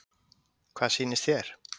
Guðni Hjálmarsson: Hvað sýnist þér?